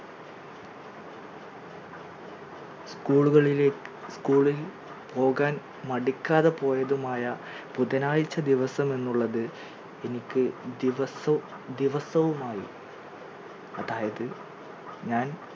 school കളിലേക്ക് school ൽ പോകാൻ മടിക്കാതെ പോയതുമായ ബുധനാഴ്ച ദിവസം എന്നുള്ളത് എനിക്ക് ദിവസോ ദിവസവും ആയി അതായത് ഞാൻ